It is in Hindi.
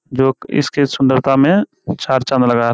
जोक इसकी सुंदरता में चार चाँद लगा र --